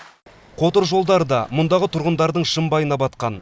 қотыр жолдар да мұндағы тұрғындардың шымбайына батқан